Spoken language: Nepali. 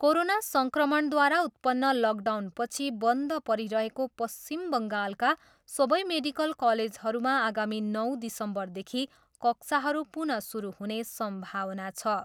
कोरोना सङ्क्रमणद्वारा उत्पन्न लकडाउनपछि बन्द परिरहेको पश्चिम बङ्गालका सबै मेडिकल कलेजहरूमा आगामी नौ दिसम्बरदेखि कक्षाहरू पुनः सुरु हुने सम्भावना छ।